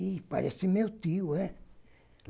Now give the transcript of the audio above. Ih, parece meu tio, é?